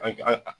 An an